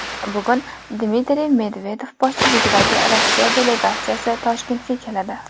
Bugun Dmitriy Medvedev boshchiligidagi Rossiya delegatsiyasi Toshkentga keladi.